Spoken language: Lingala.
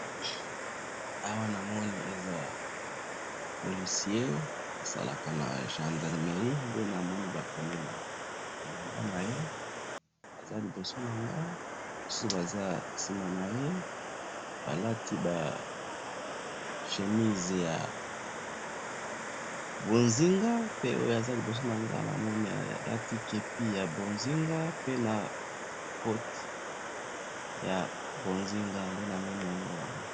awa namoni eza policier asalaka na gendarmerie, nde namoni bakomi na bilamba naye, aza liboso nangai mususu baza sima naye balati ba chemises ya bozinga, pe oyo aza liboso nangai namoni alati kepi ya bozinga, pe na koti ya bozinga, nde namoni yango awa